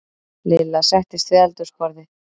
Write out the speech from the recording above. Lilla settist við eldhúsborðið.